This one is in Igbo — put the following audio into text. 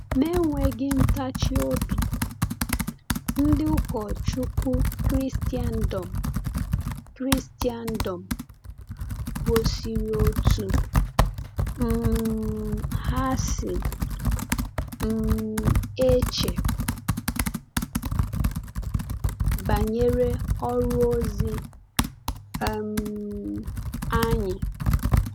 Na-enweghị ntachi obi, ndị ụkọchukwu nke Kraịstndọm, Kraịstndọm gosiri otú um ha si um eche banyere ọrụ ozi um anyị.